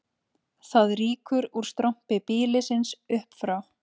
Það rýkur úr strompi býlisins upp frá